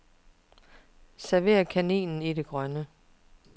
Server kaninen i det grønne.